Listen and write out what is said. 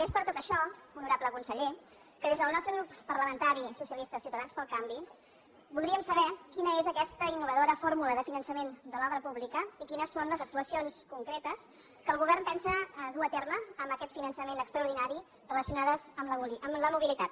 és per tot això honorable conseller que des del nostre grup parlamentari socialistes ciutadans pel canvi voldríem saber quina és aquesta innovadora fórmula de finançament de l’obra pública i quines són les actuacions concretes que el govern pensa dur a terme amb aquest finançament extraordinari relacionades amb la mobilitat